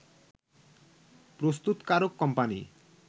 প্রস্তুতকারক কোম্পানি